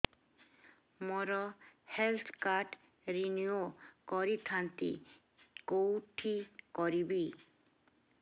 ମୋର health card renew କରିଥାନ୍ତି କୋଉଠି କରିବି